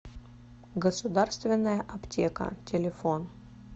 государственная аптека телефон